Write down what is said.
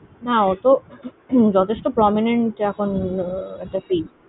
না ও তো যথেষ্ট prominent এখন একটা